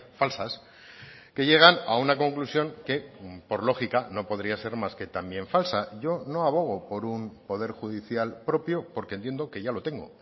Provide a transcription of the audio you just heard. falsas que llegan a una conclusión que por lógica no podría ser más que también falsa yo no abogo por un poder judicial propio porque entiendo que ya lo tengo